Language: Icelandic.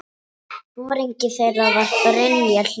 Foringi þeirra var Brynja Hlíðar.